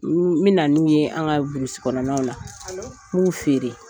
N bɛ na n'u ye an ka burusikɔnɔnnaw la n b'u feere.